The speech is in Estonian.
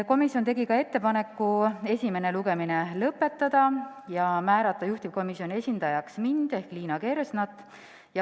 Komisjon tegi ka ettepaneku esimene lugemine lõpetada ja määrata juhtivkomisjoni esindajaks mind ehk Liina Kersnat.